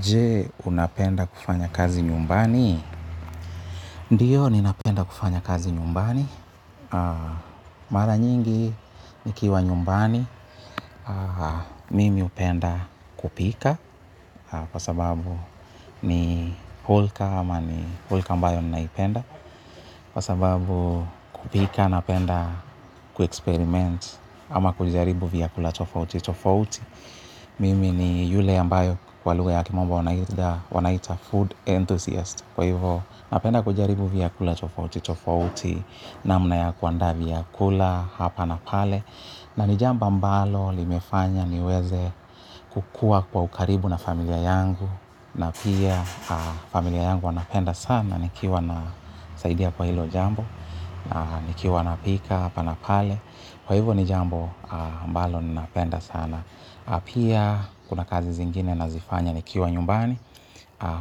Je, unapenda kufanya kazi nyumbani? Ndiyo, ninapenda kufanya kazi nyumbani. Mara nyingi, nikiwa nyumbani, mimi hupenda kupika. Kwa sababu, ni hulka, ama ni hulka ambayo ninaipenda. Kwa sababu, kupika, napenda, kuexperiment, ama kujaribu vyakula tofauti, tofauti. Mimi ni yule ambayo kwa lugha ya kimombo wanaita food enthusiast. Kwa hivyo, napenda kujaribu vyakula tofauti, tofauti, namna ya kuandaa vyakula, hapa na pale, na ni jambo ambalo limefanya niweze kukua kwa ukaribu na familia yangu, na pia familia yangu wanapenda sana, nikiwa nasaidia kwa hilo jambo, na nikiwa napika, hapa na pale. Kwa hivyo ni jambo ambalo ninapenda sana. Pia kuna kazi zingine nazifanya nikiwa nyumbani.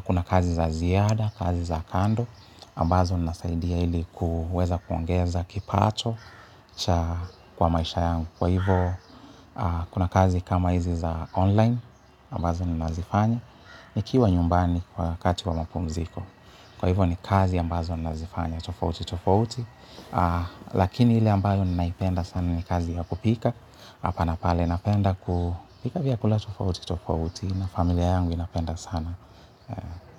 Kuna kazi za ziada, kazi za kando. Ambazo ninasaidia ili kuweza kuongeza kipato kwa maisha yangu. Kwa hivyo kuna kazi kama hizi za online. Ambazo ninazifanya. Nikiwa nyumbani kwa wakati wa mapumziko. Kwa hivyo ni kazi ambazo ninazifanya. Tofauti, tofauti. Lakini ile ambayo ninaipenda sana ni kazi ya kupika hapa na pale napenda kupika vyakula tofauti tofauti na familia yangu inapenda sana.